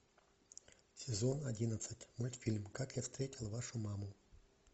сезон одиннадцать мультфильм как я встретил вашу маму